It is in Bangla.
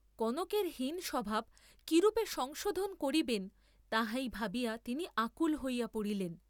কনকের হীন স্বভাব কিরূপে সংশােধন করিবেন তাহাই ভাবিয়া তিনি আকুল হইয়া পড়িলেন।